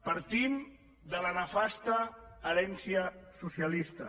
partim de la nefasta herència socialista